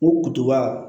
O kutuba